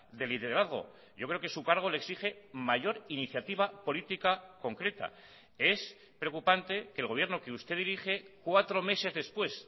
de liderazgo yo creo que su cargo le exige mayor iniciativa política concreta es preocupante que el gobierno que usted dirige cuatro meses después